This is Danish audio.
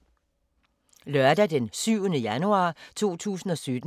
Lørdag d. 7. januar 2017